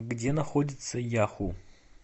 где находится яху